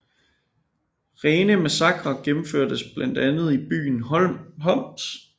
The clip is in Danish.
Rene massakrer gennemførtes blandt andet i byen Homs